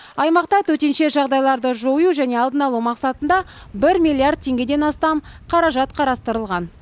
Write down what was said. аймақта төтенше жағдайларды жою және алдын алу мақсатында бір миллиард теңгеден астам қаражат қарастырылған